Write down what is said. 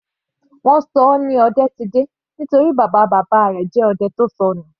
Wọ́n ṣọ ọ ní Odetide nítorí bàbá bàbá rẹ̀ jẹ́ odẹ tó sọnù.